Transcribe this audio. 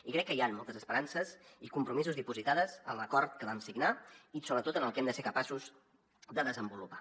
i crec que hi han moltes esperances i compromisos dipositats en l’acord que vam signar i sobretot en el que hem de ser capaços de desenvolupar